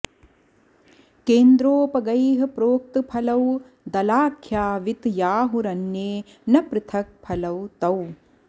केन्द्रोपगैः प्रोक्त फलौ दलाख्यावित्याहुरन्ये न पृथक् फलौ तौ